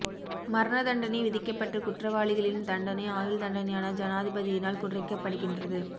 மரண தண்டனை விதிக்கப்பட்ட குற்றவாளிகளின் தண்டனை ஆயுள் தண்டனையான ஜனாதிபதியினால் குறைக்கப்படுகின்றது